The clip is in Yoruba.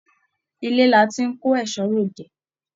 Ilé là tí n kò ẹsọ́ r'ode.